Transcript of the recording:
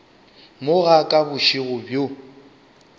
mo ga ka bošego bjo